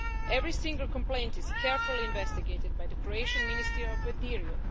Every single complaint is carefully investigated by the Croatian Ministry of the Interior.